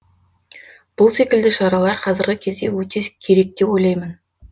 бұл секілді шараралар қазіргі кезде өте керек деп ойлаймын